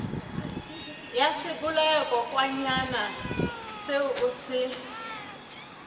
ya sebolayakokwanyana seo o se